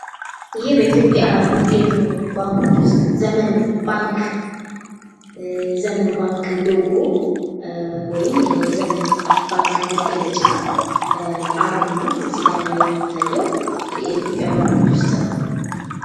ይህ በኢትዮጵያ ከሚገኙ ባንኮች ውስጥ ዘመን ባንክ ዘመን ባንክ ሎጎ ወይም ደግሞ የዘመን ባንክ መገለጫ አርማ እዚህ ጋራ የሚታየው የኢትዮጲያ ባንኮች ውስጥ ነው።